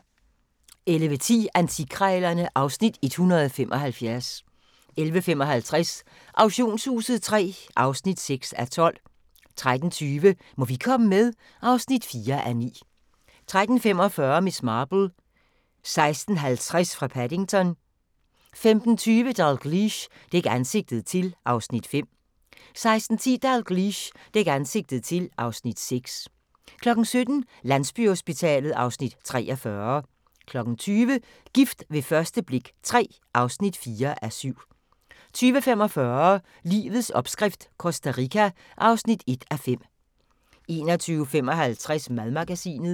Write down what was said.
11:10: Antikkrejlerne (Afs. 175) 11:55: Auktionshuset III (6:12) 13:20: Må vi komme med? (4:9) 13:45: Miss Marple: 16:50 fra Paddington 15:20: Dalgliesh: Dæk ansigtet til (Afs. 5) 16:10: Dalgliesh: Dæk ansigtet til (Afs. 6) 17:00: Landsbyhospitalet (Afs. 43) 20:00: Gift ved første blik III (4:7) 20:45: Livets opskrift - Costa Rica (1:5) 21:55: Madmagasinet